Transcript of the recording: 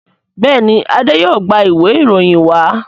Béèni Ade yóò gbà Ìwé ìròyìn wa.